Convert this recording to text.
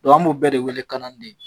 Dɔn an b'o bɛɛ wele kanani de ye